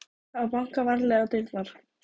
Það var bankað varlega á dyrnar.